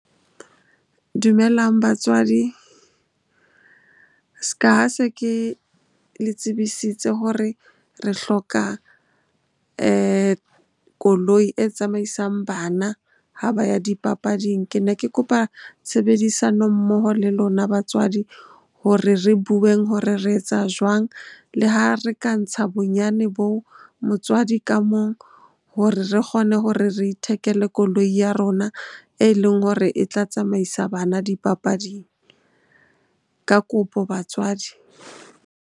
Dumelang batswadi. S'ka ha se ke le tsebisitse hore re hloka koloi e tsamaisang bana ha ba ya dipapading. Ke ne ke kopa tshebedisano mmoho le lona batswadi hore re bueng hore re etsa jwang? Le ha re ka ntsha bonyane boo motswadi ka mong hore re kgone hore re ithekele koloi ya rona e leng hore e tla tsamaisa bana dipapading. Ka kopo batswadi.